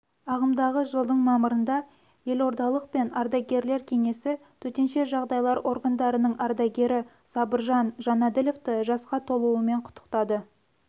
ағымдағы жылдың мамырында елордалық пен ардагерлер кеңесі төтенше жағдайлар органдарының ардагері сабыржан жанәділовты жасқа толуымен құттықтады